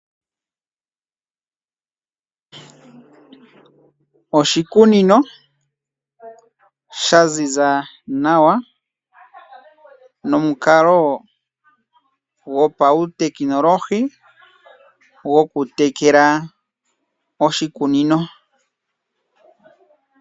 Oshikunino shaziza nawa nomukalo gopawu tekinolohi goku tekela oshikunino.